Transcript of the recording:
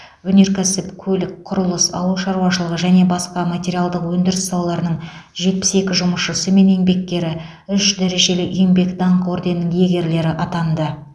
өнеркәсіп көлік құрылыс ауыл шаруашылығы және басқа материалдық өндіріс салаларының жетпіс екі жұмысшысы мен еңбеккері үш дәрежелі еңбек даңқы орденінің иегерлері атанды